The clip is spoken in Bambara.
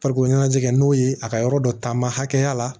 Farikolo ɲɛnajɛ n'o ye a ka yɔrɔ dɔ taama hakɛya la